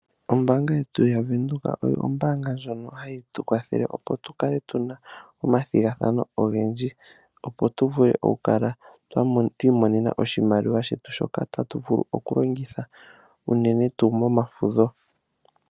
Ombaanga yetu ya Venduka oyo ombaanga ndjono hayi tu kwathele opo tu kale tuna omathigathano ogendji, opo tu vule oku kala twa imonena oshimaliwa shetu, shoka tatu vulu oku longitha, unene tuu mo mafudho.